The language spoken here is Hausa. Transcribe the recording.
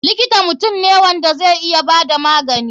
Likita mutum ne wanda zai iya bada magani.